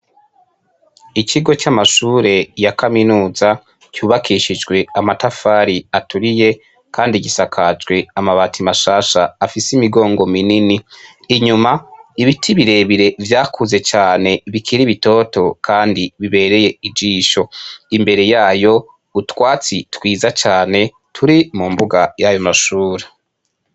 Ikigo c'amashure ya kaminuza cubakishijwe amatafari aturiye kandi gisakajwe amabati mashasha afise imigongo minini inyuma ibiti birebire vyakuze cane bikiri bitoto kandi bibereye ijisho, imbere yayo utwatsi twiza cane turi mumbuga yayo mashure.